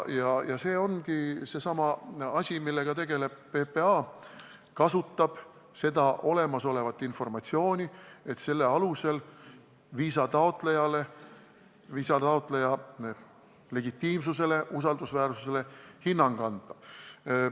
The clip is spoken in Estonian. Ja see ongi seesama, millega PPA tegeleb: kasutab olemasolevat informatsiooni, et selle alusel viisataotlejale, viisataotleja legitiimsusele, usaldusväärsusele hinnang anda.